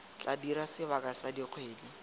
tla dira sebaka sa dikgwedi